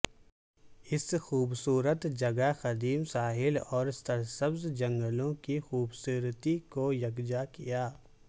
اس خوبصورت جگہ قدیم ساحل اور سرسبز جنگلوں کی خوبصورتی کو یکجا کیا